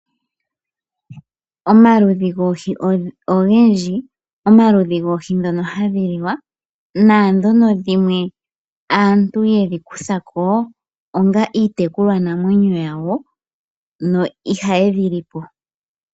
Omaludhi goohi ogendji , omaludhi goohi dhoka hadhi liwa nadhoka dhimwe aantu yedhi kutha ko onga iitekulwa namwenyo yawo na ihaa ye dhi li po.